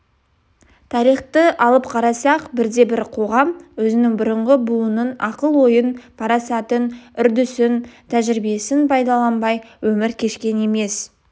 тарихты алып қарасақ бірде-бір қоғам өзінен бұрынғы буынның ақыл ойын парасатын үрдісін тәжірибесін пайдаланбай өмір кешкен емес